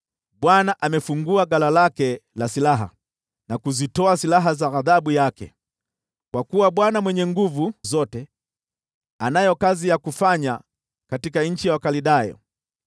Bwana amefungua ghala lake la silaha na kuzitoa silaha za ghadhabu yake, kwa kuwa Bwana Mwenyezi Mwenye Nguvu Zote anayo kazi ya kufanya katika nchi ya Wakaldayo.